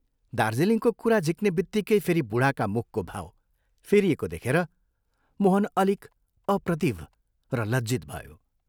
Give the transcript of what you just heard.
दार्जीलिङको कुरा झिक्नेबित्तिकै फेरि बूढाका मुखको भाव फेरिएको देखेर मोहन अलिक अप्रतिभ र लज्जित भयो।